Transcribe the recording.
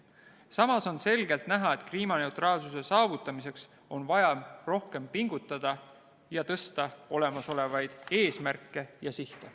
Samas on selgelt näha, et kliimaneutraalsuse saavutamiseks on vaja rohkem pingutada ja tõsta olemasolevaid eesmärke ja sihte.